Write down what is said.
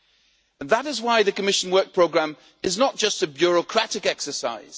And that is why the Commission Work Programme is not just a bureaucratic exercise